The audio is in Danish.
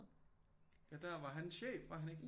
Ja der var han chef var han ikke